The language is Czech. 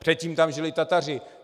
Předtím tam žili Tataři.